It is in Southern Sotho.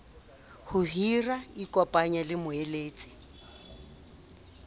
ho hira ikopanyeng le moeletsi